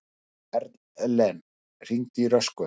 Erlen, hringdu í Röskvu.